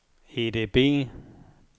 EDB